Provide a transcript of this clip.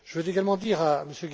Je veux également dire